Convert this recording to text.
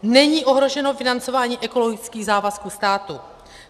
Není ohroženo financování ekologických závazků státu.